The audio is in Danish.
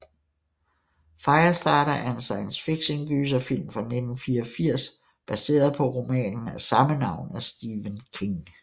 Firestarter er en science fiction gyserfilm fra 1984 baseret på romanen af samme navn af Stephen King